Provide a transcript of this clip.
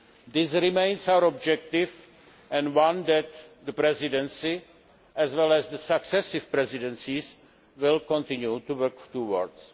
This remains our objective and one that the Presidency, as well as the successive Presidencies, will continue to work towards.